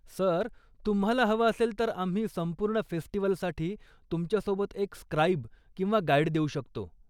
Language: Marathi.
सर, तुम्हाला हवं असेल, तर आम्ही संपूर्ण फेस्टिवलसाठी तुमच्यासोबत एक स्क्राइब किंवा गाईड देऊ शकतो.